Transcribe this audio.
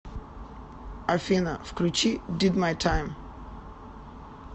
афина включи дид май тайм